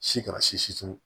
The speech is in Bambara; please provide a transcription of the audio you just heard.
Si kana si turu